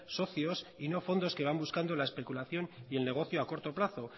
socios y no fondos que van buscando la especulación y el negocio a corto plazo